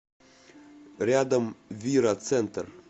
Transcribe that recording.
рядом вира центр